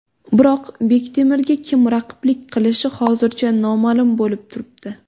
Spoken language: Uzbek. Biroq Bektemirga kim raqiblik qilishi hozircha noma’lum bo‘lib turibdi.